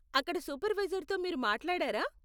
అక్కడ సూపర్వైజర్తో మీరు మాట్లాడారా?